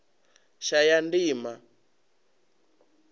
shayandima